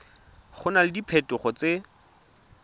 go na le diphetogo tse